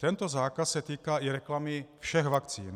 Tento zákaz se týká i reklamy všech vakcín.